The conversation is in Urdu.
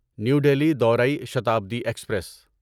نیو دلہی دورای شتابدی ایکسپریس